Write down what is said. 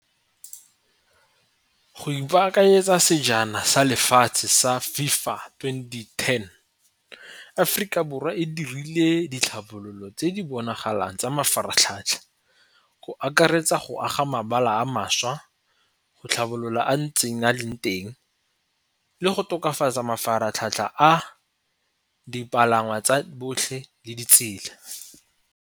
Go ipakanyetsa sejaneng sa lefatshe sa FIFA twenty-ten Aforika Borwa e dirile ditlhabololo tse di bonagalang tsa mafaratlhatlha ko akaretsa go aga mebala a mašwa, go tlhabolola a ntseng a leng teng, le go tokafatsa mafaratlhatlha a dipalangwa tsa botlhe le ditsela.